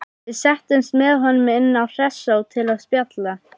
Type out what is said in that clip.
Við settumst með honum inn á Hressó til að spjalla.